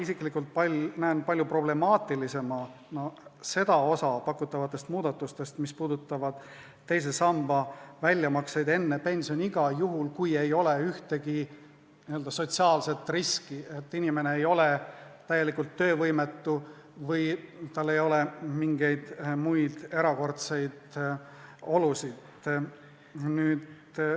Ja kahtlemata näen ma ise palju problemaatilisemana seda osa pakutavatest muudatustest, mis puudutavad teisest sambast enne pensioniea saabumist väljamaksete tegemist juhul, kui ei ole ühtegi n-ö sotsiaalset riski: inimene ei ole täielikult töövõimetu ja tal ei ole mingeid muid erakordseid olusid.